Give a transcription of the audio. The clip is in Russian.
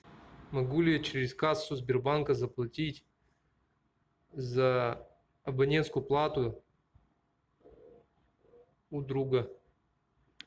могу ли я через кассу сбербанка заплатить за абонентскую плату у друга